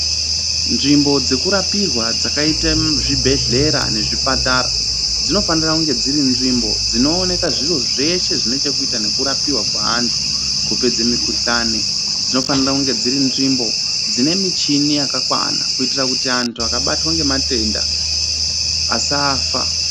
Nzvimbo dzekurapirwa dzakaite zvibhedhlera nezvipatara dzinofanira kunge dziri nzvimbo dzinooneka zviro zveshe zvinechekuita nekurapiwa kweantu kupedze mikuhlani. Dzinofanira kunge dziri nzvimbo dzine michini yakakwana kuitira kuti antu akabatwa ngematenda, asafa.